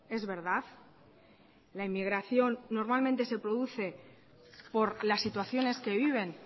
es verdad la inmigración normalmente se produce por las situaciones que viven